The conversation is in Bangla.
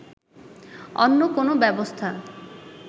অন্য কোন ব্যবস্থা